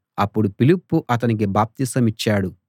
అప్పుడు ఫిలిప్పు అతనికి బాప్తిసమిచ్చాడు